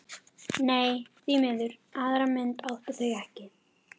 Nei, því miður, aðra mynd áttu þau ekki.